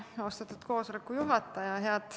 Austatud koosoleku juhataja!